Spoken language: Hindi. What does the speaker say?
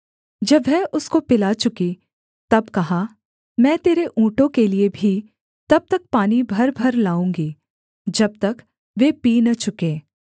जब वह उसको पिला चुकी तब कहा मैं तेरे ऊँटों के लिये भी तब तक पानी भरभर लाऊँगी जब तक वे पी न चुकें